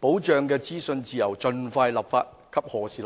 保障的資訊自由盡快立法及何時立法"。